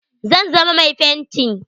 Zan zama mai fenti.